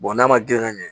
n'a ma grin ka ɲɛ